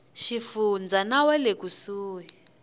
xifundza na wa le kusuhi